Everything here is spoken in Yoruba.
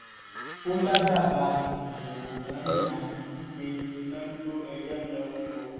ó ládàbà tìtùbù ò náání à ń kúgbe iná ń jó ẹyẹ ń lọ ni o